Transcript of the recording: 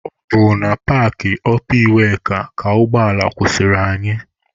Ọ bụ na paakị ọpa iweka ka ụgbọ ala kwụsịrị anyị.